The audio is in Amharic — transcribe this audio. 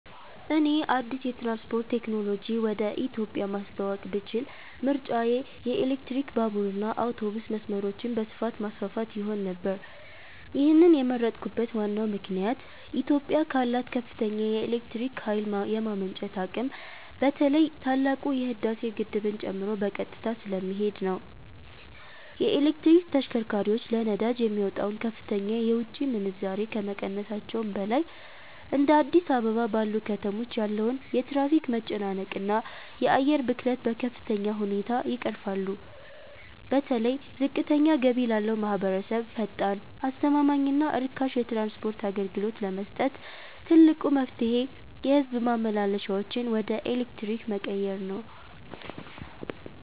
እኔ አዲስ የትራንስፖርት ቴክኖሎጂ ወደ ኢትዮጵያ ማስተዋወቅ ብችል ምርጫዬ የኤሌክትሪክ ባቡርና አውቶቡስ መስመሮችን በስፋት ማስፋፋት ይሆን ነበር። ይህንን የመረጥኩበት ዋናው ምክንያት ኢትዮጵያ ካላት ከፍተኛ የኤሌክትሪክ ኃይል የማመንጨት አቅም በተለይ ታላቁ የህዳሴ ግድብን ጨምሮ በቀጥታ ስለሚሄድ ነው። የኤሌክትሪክ ተሽከርካሪዎች ለነዳጅ የሚወጣውን ከፍተኛ የውጭ ምንዛሬ ከመቀነሳቸውም በላይ፤ እንደ አዲስ አበባ ባሉ ከተሞች ያለውን የትራፊክ መጨናነቅና የአየር ብክለት በከፍተኛ ሁኔታ ይቀርፋሉ። በተለይ ዝቅተኛ ገቢ ላለው ማኅበረሰብ ፈጣን፣ አስተማማኝና ርካሽ የትራንስፖርት አገልግሎት ለመስጠት ትልቁ መፍትሔ የሕዝብ ማመላለሻዎችን ወደ ኤሌክትሪክ መቀየር ነው።